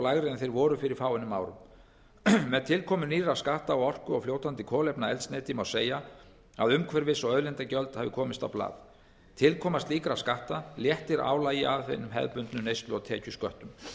lægri en þeir voru fyrir fáeinum árum með tilkomu nýrra skatta á orku og fljótandi kolefnaeldsneyti má segja að umhverfis og auðlindagjöld hafi komist á blað tilkoma slíkra skatta léttir álagi af hinum hefðbundnu neyslu og tekjusköttum